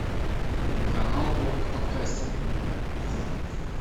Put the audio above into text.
канал орк подкастер